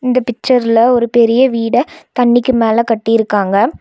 இந்த பிக்சர்ல ஒரு பெரிய வீட தண்ணிக்கு மேல கட்டிருக்காங்க.